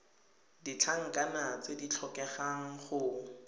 ditlankana tse di tlhokegang go